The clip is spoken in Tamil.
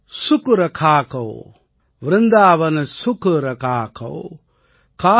वृंदावन सुख रंग कौ वृंदावन सुख रंग कौ